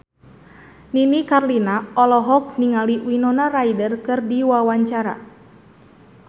Nini Carlina olohok ningali Winona Ryder keur diwawancara